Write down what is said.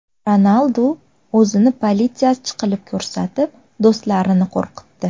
Ronaldu o‘zini politsiyachi qilib ko‘rsatib, do‘stlarini qo‘rqitdi .